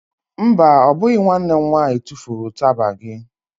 Mba, ọ bụghị nwanne m nwaanyị tufuru ụtaba gị.